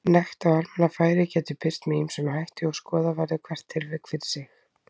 Nekt á almannafæri getur birst með ýmsum hætti og skoða verður hvert tilvik fyrir sig.